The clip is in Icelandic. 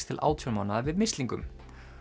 til átján mánaða við mislingum